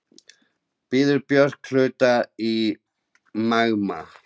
Býður Björk hlut í Magma